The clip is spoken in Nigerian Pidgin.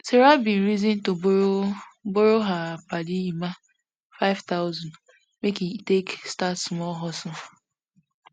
sarah bin reason to borrow borrow her padi emma five thousand make e take start small hustle